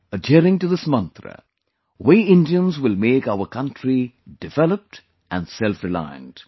Adhering to this mantra, we Indians will make our country developed and selfreliant